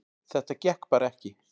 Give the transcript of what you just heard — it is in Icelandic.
Þetta gekk bara ekki